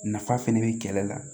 Nafa fɛnɛ be kɛlɛ la